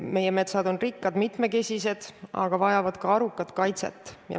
Meie metsad on rikkad, mitmekesised, aga vajavad ka arukat kaitset.